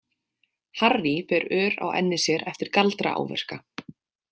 Harry ber ör á enni sér eftir galdraáverka.